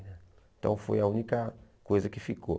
Então foi a única coisa que ficou.